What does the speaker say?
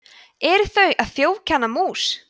eru þau að þjófkenna mús